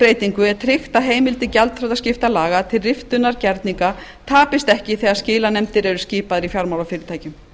breytingu er tryggt að heimildir gjaldþrotaskiptalaga til riftunar gerninga tapist ekki þegar skilanefndir eru skipaðar í fjármálafyrirtækjum